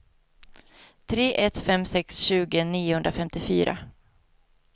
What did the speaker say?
tre ett fem sex tjugo niohundrafemtiofyra